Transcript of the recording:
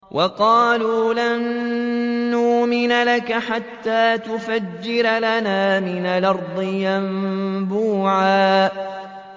وَقَالُوا لَن نُّؤْمِنَ لَكَ حَتَّىٰ تَفْجُرَ لَنَا مِنَ الْأَرْضِ يَنبُوعًا